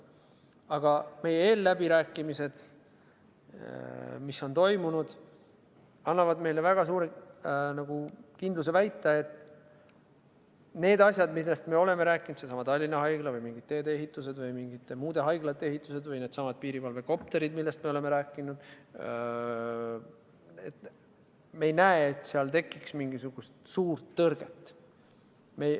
Aga eelläbirääkimised, mis on toimunud, annavad meile kindluse väita, et need asjad, millest me oleme rääkinud – seesama Tallinna Haigla või mingid teedeehitused või mingite muude haiglate ehitused või needsamad piirivalvekopterid, millest me oleme rääkinud –, me ei näe, et seal tekiks mingisugust suurt tõrget.